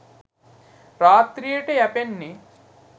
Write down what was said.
රාත්‍රියට යැපෙන්නේ